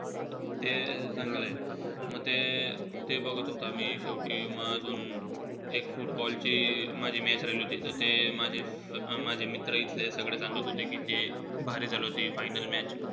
ते चांगलंय. म ते-ते बघत होता मी. शेवटी म अजून एक football ची माझी match राहिली होती. त ते माझे~ माझे मित्र इथले सगळे सांगत होते की, ते भारी झाली होती final match